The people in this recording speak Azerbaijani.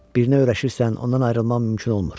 Birinə öyrəşirsən, ondan ayrılmağın mümkün olmur.